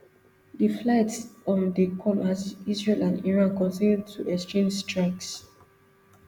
di flights um dey come as israel and iran continue to exchange strikes